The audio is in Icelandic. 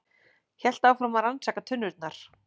Hélt áfram að rannsaka tunnurnar.